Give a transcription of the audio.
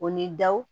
O ni daw